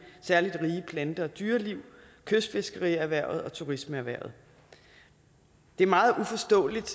særlig rige plante og dyreliv kystfiskerierhvervet og turismeerhvervet det er meget uforståeligt